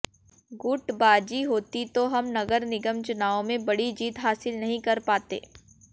गुटबाजी होती तो हम नगर निगम चुनावों में बड़ी जीत हासिल नहीं कर पाते